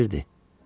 O sirdir.